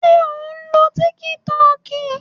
Ṣé ò ń lo tíkí tọọkì?